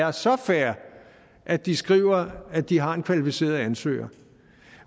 er så fair at de skriver at de har en kvalificeret ansøger